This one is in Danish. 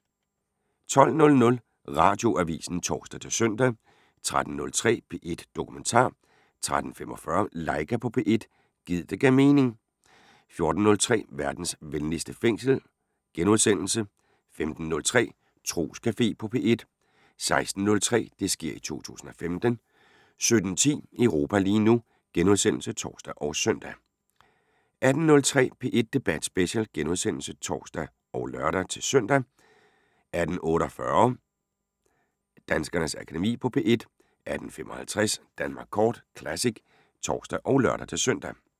12:00: Radioavisen (tor-søn) 13:03: P1 Dokumentar 13:45: Laika på P1 – gid det gav mening 14:03: Verdens venligste fængsel * 15:03: Troscafé på P1 16:03: Det sker i 2015 17:10: Europa lige nu *(tor og søn) 18:03: P1 Debat Special *(tor og lør-søn) 18:48: Danskernes Akademi på P1 18:55: Danmark Kort Classic (tor og lør-søn)